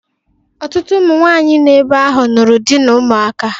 Ọtụtụ ụmụ nwanyị nọ ebe ahụ nụrụ dị n'ụmụaka